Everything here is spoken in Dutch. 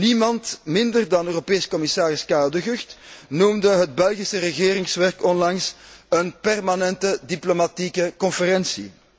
Niemand minder dan Europees commissaris Karel De Gucht noemde het Belgische regeringswerk onlangs een permanente diplomatieke conferentie.